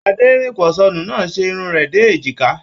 Adẹ́rínposónú náà ṣe irun rẹ dé èjìkà.